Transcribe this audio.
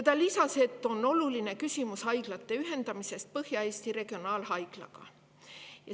Ta lisas, et oluline küsimus on haiglate ühendamine Põhja-Eesti Regionaalhaiglaga.